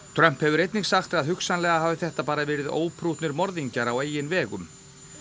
Trump hefur einnig sagt að hugsanlega hafi þetta bara verið óprúttnir morðingjar á eigin vegum